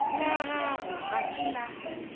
la gago ga se la